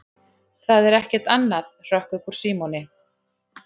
Það er ekkert annað hrökk upp úr Símoni.